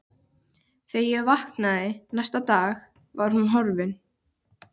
Svo er það horfið fyrr en varir.